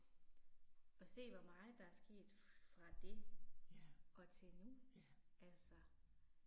Og se hvor meget der er sket fra det og til nu, altså